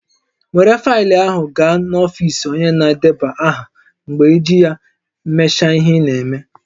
Were faịlụ ahụ gaa n'ọfisi onye na-edeba aha mgbe iji ya me has ihe ị na-eme